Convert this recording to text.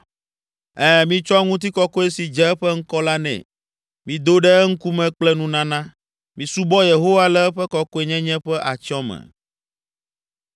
Ɛ̃, mitsɔ ŋutikɔkɔe si dze eƒe ŋkɔ la nɛ. Mido ɖe eŋkume kple nunana. Misubɔ Yehowa le eƒe kɔkɔenyenye ƒe atyɔ̃ me.